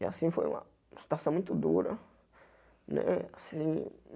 E assim, foi uma situação muito dura. Né assim